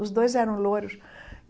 Os dois eram louros.